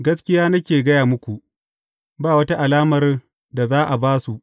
Gaskiya nake gaya muku, ba wata alamar da za a ba su.